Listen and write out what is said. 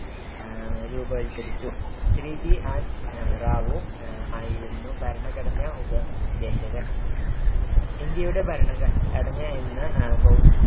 രൂപവത്കരിച്ചു. Shri BN Rau അഹ് ആയിരുന്നു ഭരണഘടനാ ഉപ ദേശകൻ‌ ഇന്ത്യയുടെ ഭരണ ഘടന എന്ന ഭൗത്യം